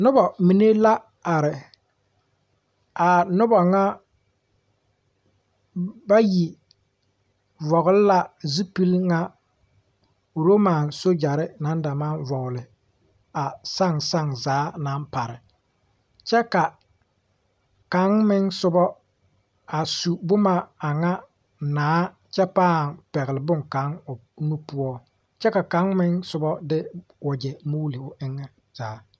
Nobamine la are a noba ŋa bayi vɔgle la zupile ŋa Roma sojare naŋ da maŋ vɔgle a saŋ saŋ zaa naŋ pare kyɛ ka kaŋ meŋ soba a su boma aŋa naa kyɛ pãã pɛgle boŋkaŋa o nu poɔ kyɛ ka kaŋ meŋ soba o de wagyɛ muuli o eŋɛ zaa.